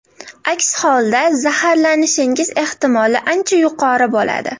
Aks holda zaharlanishingiz ehtimoli ancha yuqori bo‘ladi.